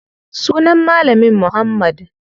Sunan malamin muhammad.